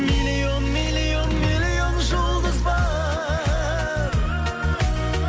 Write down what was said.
миллион миллион миллион жұлдыз бар